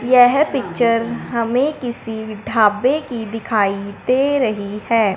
यह पिक्चर हमें किसी ढाबे की दिखाई दे रही है।